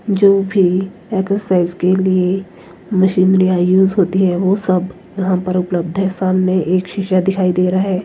जो भी एक्सरसाइज के लिए मशीनरी यूज़ होती है वो सब यहां पर उपलब्ध है सामने एक शीशा दिखाई दे रहा है।